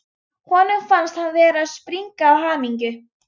Honum fannst hann vera að springa af hamingju.